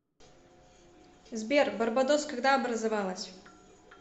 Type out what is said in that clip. сбер барбадос когда образовалась